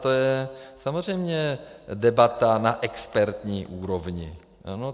To je samozřejmě debata na expertní úrovni.